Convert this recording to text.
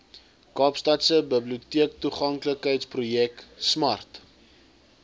kaapstadse biblioteektoeganklikheidsprojek smart